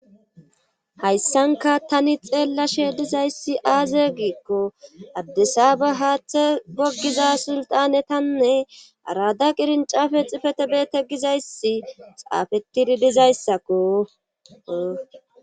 hayssanka tani xeellashe dizayssi aaze giikko addesaba haaththe goggiza sultanetanne arada qirincafe xifetebeete gizayssi xaafettidi dizayssakko